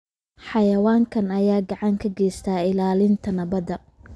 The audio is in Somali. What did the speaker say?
Xayawaankan ayaa gacan ka geysta ilaalinta nabadda.